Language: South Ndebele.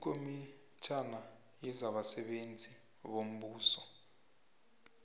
ikomitjhana yezabasebenzi bombuso